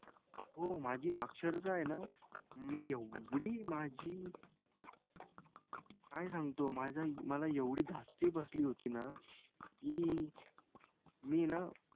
हो माझी अक्षरशः आहे ना मी एवढी माझी काय सांगतो माझा मला एवढी धास्ती बसली होती ना की मी ना,